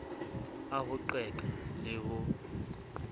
a ho qeka le ho